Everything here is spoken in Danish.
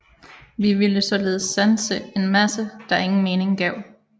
Vi ville således sanse en masse der ingen mening gav